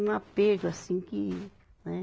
Um apego assim que, né?